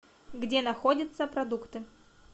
где находится продукты